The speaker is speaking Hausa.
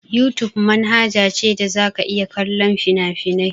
Yutub manhaja ce da za ka iya kallon fina-finai.